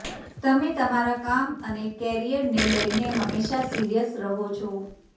તમે તમારા કામ અને કરિયરને લઈને હંમેશા સિરિયસ રહો છો